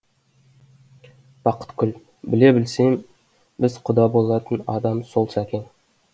бақыткүл біле білсең біз құда болатын адам сол сәкең